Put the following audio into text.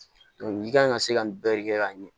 i kan ka se ka nin bɛɛ de kɛ ka ɲɛ